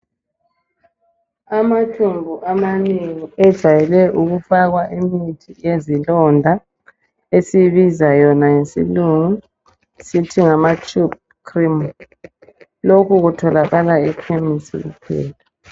Amathumbu amanengi ejayele ukufakwa imithi yezilonda esiyibiza yona ngesilungu sithi ngama tube cream lokhu kutholakala ekhemisi kuphela.